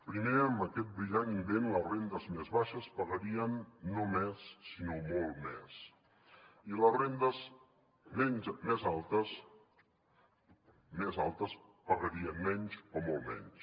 primer amb aquest brillant invent les rendes més baixes pagarien no més sinó molt més i les rendes més altes pagarien menys o molt menys